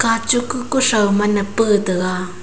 kachuk ku kuthao ma na pa taga.